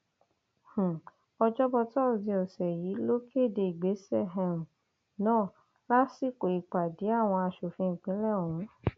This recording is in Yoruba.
um ọjọbọ tosidee ọsẹ yìí ló kéde ìgbésẹ um náà lásìkò ìpàdé àwọn asòfin ìpínlẹ ọhún